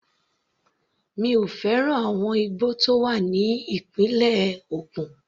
Mi ò fẹ́ràn àwọn igbó tó wà ní ìpínlẹ̀ Ògùn.